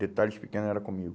Detalhes pequenos era comigo.